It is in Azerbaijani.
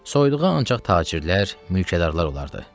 Soyduğu ancaq tacirlər, mülkədarlar olardı.